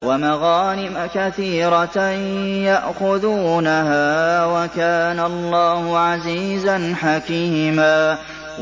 وَمَغَانِمَ كَثِيرَةً يَأْخُذُونَهَا ۗ وَكَانَ اللَّهُ عَزِيزًا حَكِيمًا